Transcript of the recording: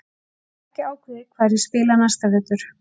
Ég hef ekki ákveðið hvar ég spila næsta vetur.